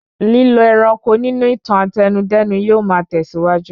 Lílo ẹranko nínú ìtàn Àtẹnudẹ́nu yóò ma tẹ̀síwájú